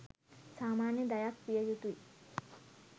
සාමාන්‍ය දයක් විය යුතුයි.